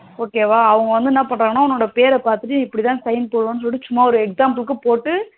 okay வா அவங்க வந்து என்ன பன்றாங்கனா உன்னோட பேர பாத்துட்டு இப்டிதா sign போடணும்னு சொல்லிட்டு சும்மா ஒரு example க்கு போட்டு